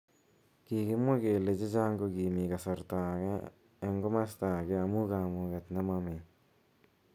Kikimwa kele bik chechang kokimi kasaratak eng kimosataka amu kamuget nemomii.